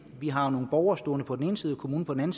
vi har nogle borgere stående på den ene side og kommunen på den